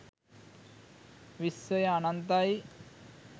විශ්වය අනන්තයි